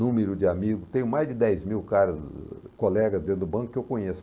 número de amigos, tenho mais de dez mil caras, colegas dentro do banco que eu conheço.